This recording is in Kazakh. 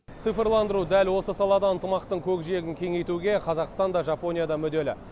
цифрландыру дәл осы салада ынтымақтың көкжиегін кеңейтуге қазақстан да жапония да мүдделі